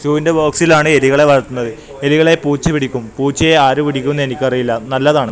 ഷൂന്റെ ബോക്സിലാണ് എലികളെ വളർത്തുന്നത് എലികളെ പൂച്ച പിടിക്കും പൂച്ചയെ ആരും പിടിക്കും എന്ന് എനിക്ക് അറിയില്ല നല്ലതാണ്.